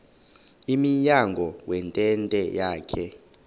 emnyango wentente yakhe